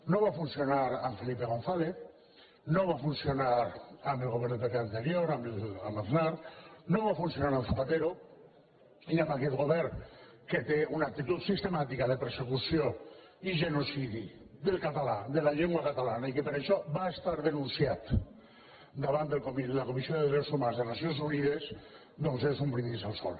no va funcionar amb felipe gonzález no va funcionar amb el govern del pp anterior amb aznar no va funcionar amb zapatero i amb aquest govern que té una actitud sistemàtica de persecució i genocidi del català de la llengua catalana i que per això va ser denunciat davant de la comissió de drets humans de nacions unides doncs és un brindis al sol